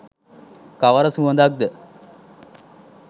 කවර සුවඳක්ද